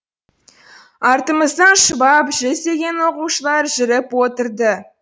артымыздан шұбап жүздеген оқушылар жүріп отырды